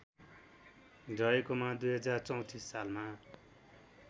रहेकोमा २०३४ सालमा